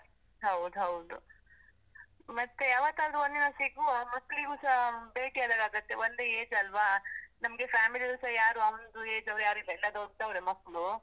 ಹೌದ್ ಹೌದು, ಮತ್ತೇ ಯಾವತ್ತಾದ್ರೂ ಒಂದಿನ ಸಿಗುವ, ಮಕ್ಳಿಗೂಸ ಭೇಟಿ ಆದಾಗಾಗುತ್ತೆ, ಒಂದೇ age ಅಲ್ವ? ನಮ್ಗೆ family ಯಲ್ಲೂಸಾ ಯಾರೂ ಅವನ್ದು age ಅವ್ರು ಯಾರೂಸ ಇಲ್ಲ, ಎಲ್ಲ ದೊಡ್ಡವ್ರೇ ಮಕ್ಳು.